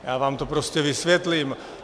Já vám to prostě vysvětlím.